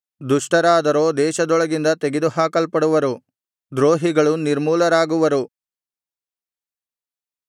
ದುಷ್ಟರಾದರೋ ದೇಶದೊಳಗಿಂದ ತೆಗೆದುಹಾಕಲ್ಪಡುವರು ದ್ರೋಹಿಗಳು ನಿರ್ಮೂಲರಾಗುವರು